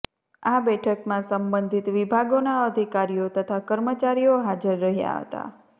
આ બેઠકમાં સબંધિત વિભાગોના અધિકારીઓ તથા કર્મચારીઓ હાજર રહયા હતા